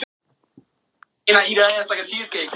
Sannarlega hafa tímarnir breyst.